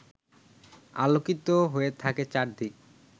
আলোকিত হয়ে থাকে চারদিক